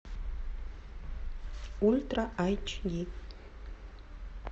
ультра айч ди